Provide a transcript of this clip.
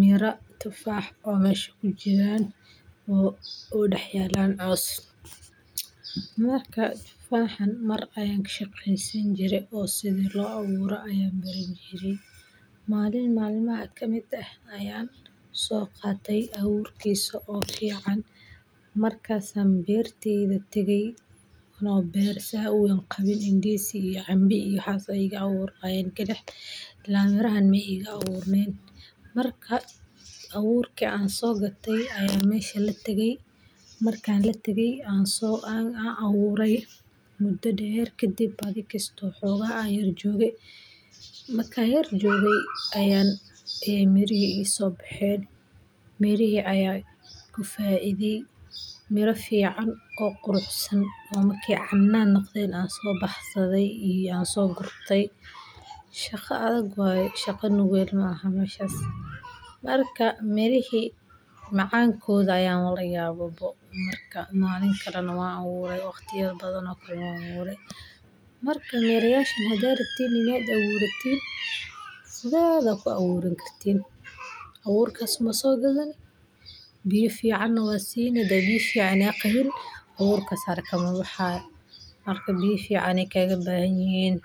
miraa tufaax oo mesha kujiran oo dhehyelan caws ,marka waxan mar ayan kashekey sani jire oo sidha loo aburo ayan barani jire malin malmaha kamid ah ayan so qate aburkisa oo fican, markasan berteyda tagay ano ber sas u weyn ah qawin ndizi iyo cambo iyo waxas aya igu aburnayen kalix , ila mirahan maigu aburnen, marka aburki aan so gatay ayan mesha latagay . Markan latagey an aburey mudo dher kadib , adhi kisto xogaha an yara joge markan yar joge ay mirihi so behen mirihi ayan ku faidey ,mira fican oo qurux san oo markey canan noqden so baxsade yaan so gurtay, shaqo adag waye shaqa nugel maaha marka mirihi macankoda ayan layabe ,malin kalena wan aburay , marka mirayashan hadad rabtan inaad aburatin sidhodha kuaburan kartin ,aburkas unba sogadani biya ficana waad sini hadi biya fican aad qawin aburkas haraka mabahayo marka biya fican yey kaga bahan yihin.